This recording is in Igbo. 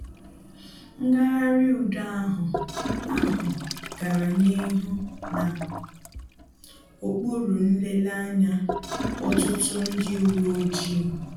Ngagharị udo ahụ ahụ gara n'ihu na okpuru nlele anya ọtụtụ ndị uwe ojii